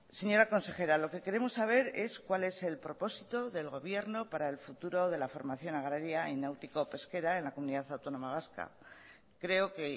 señora consejera lo que queremos saber es saber cuál es el propósito del gobierno para el futuro de la formación agraria y náutico pesquera en la comunidad autónoma vasca creo que